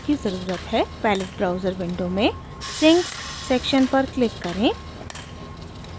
palette browser window में sinks section पर click करें